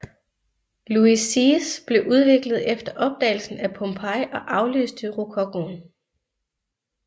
Louis seize blev udviklet efter opdagelsen af Pompeii og afløste rokokoen